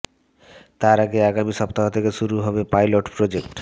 তার আগে আগামী সপ্তাহ থেকে শুরু হবে পাইলট প্রোজেক্ট